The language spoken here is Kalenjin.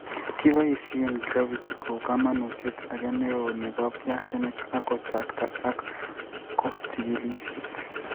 Kiboisyei gravity ko uu kamanuutyet age ne oo ne bo piasinik, ak kochaakta ak ko chigilisyet.